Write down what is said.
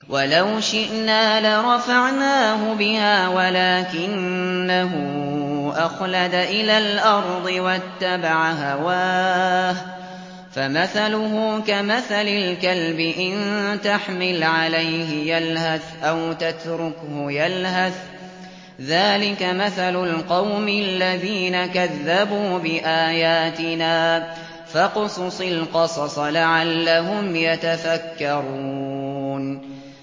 وَلَوْ شِئْنَا لَرَفَعْنَاهُ بِهَا وَلَٰكِنَّهُ أَخْلَدَ إِلَى الْأَرْضِ وَاتَّبَعَ هَوَاهُ ۚ فَمَثَلُهُ كَمَثَلِ الْكَلْبِ إِن تَحْمِلْ عَلَيْهِ يَلْهَثْ أَوْ تَتْرُكْهُ يَلْهَث ۚ ذَّٰلِكَ مَثَلُ الْقَوْمِ الَّذِينَ كَذَّبُوا بِآيَاتِنَا ۚ فَاقْصُصِ الْقَصَصَ لَعَلَّهُمْ يَتَفَكَّرُونَ